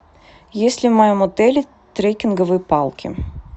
есть ли в моем отеле трекинговые палки